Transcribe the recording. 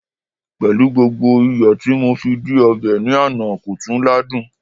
pẹlú gbogbo iyo ti mo fi di obe ni Ana, ko tun ladun